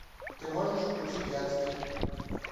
ты можешь включить адский